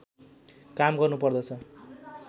काम गर्नुपर्दछ